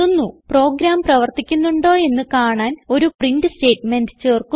programme പ്രവർത്തിക്കുന്നുണ്ടോ എന്ന് കാണാൻ ഒരു പ്രിന്റ് സ്റ്റേറ്റ്മെന്റ് ചേർക്കുന്നു